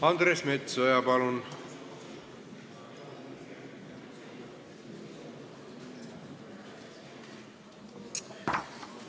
Andres Metsoja, palun!